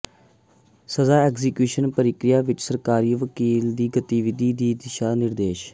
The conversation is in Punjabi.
ਸਜ਼ਾ ਐਕਜ਼ੀਕਿਊਸ਼ਨ ਦੀ ਪ੍ਰਕਿਰਿਆ ਵਿਚ ਸਰਕਾਰੀ ਵਕੀਲ ਦੀ ਗਤੀਵਿਧੀ ਦੀ ਦਿਸ਼ਾ ਨਿਰਦੇਸ਼